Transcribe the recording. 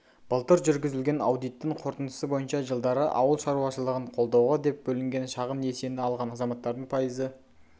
былтыр жүргізілген аудиттың қорытындысы бойынша жылдары ауыл шаруашылығын қолдауға деп бөлінген шағын несиені алған азаматтардың пайызы